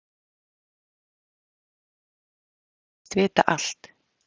Ég hló að honum og sagði að hann þættist vita allt.